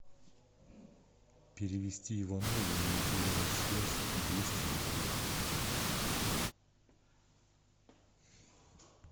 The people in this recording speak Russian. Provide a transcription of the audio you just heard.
перевести иванову на мобильную связь двести рублей